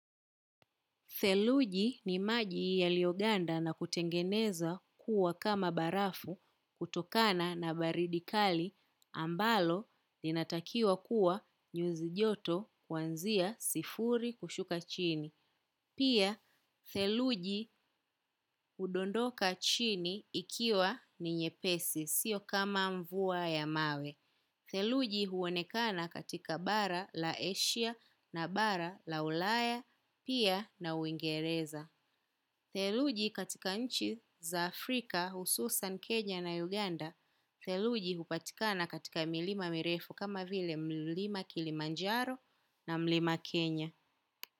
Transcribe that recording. Theluji ni maji yaliyoganda na kutengenezwa kuwa kama barafu kutokana na baridi kali ambalo linatakiwa kuwa nyuzi joto kwanzia sifuri kushuka chini. Pia, theluji udondoka chini ikiwa ni nyepesi, sio kama mvua ya mawe. Theluji huonekana katika bara la eshia na bara la ulaya, pia na uingereza. Theluji katika nchi za Afrika hususan kenya na Uganda, theluji hupatikana katika milima mirefu kama vile mlima Kilimanjaro na mlima Kenya.